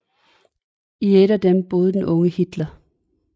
I et af dem boede den unge Hitler